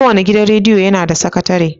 Kowane gidan rediyo yana da sakatare.